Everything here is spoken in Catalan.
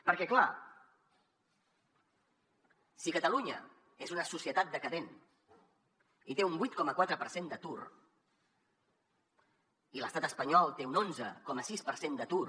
perquè clar si catalunya és una societat decadent i té un vuit coma quatre per cent d’atur i l’estat espanyol té un onze coma sis per cent d’atur